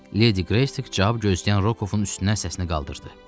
Ledi Qresika cavab gözləyən Rokovun üstünə səsini qaldırdı.